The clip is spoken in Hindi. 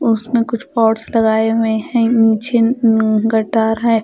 उसमें कुछ पॉट्स लगाए हुए हैं नीचे गटार है।